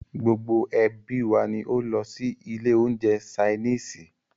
Gbogbo ẹ́bí wa ní o lọ sí ilé oúnjẹ ṣainiisi.